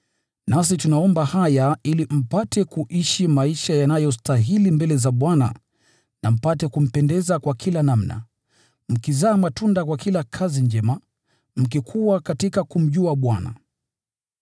Nasi tunaomba haya ili mpate kuishi maisha yanayostahili mbele za Bwana, na mpate kumpendeza kwa kila namna: mkizaa matunda kwa kila kazi njema, mkikua katika kumjua Mungu,